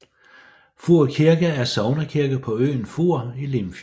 Fur Kirke er sognekirke på øen Fur i Limfjorden